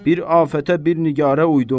Bir afətə bir nigarə uydum.